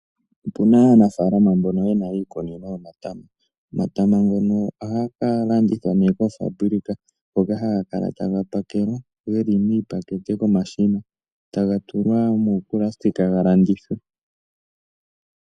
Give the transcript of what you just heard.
Opuna aanafaalama mbono yena iikunino yomatama . Omatama ngono ohaga ka landithwa nee koofambulika hoka haga kala taga pakelwa geli miipakete komashina , taga tulwa muupulasitika ga landithwe .